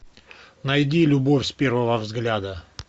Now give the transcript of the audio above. найди любовь с первого взгляда